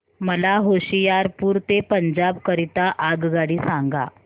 मला होशियारपुर ते पंजाब करीता आगगाडी सांगा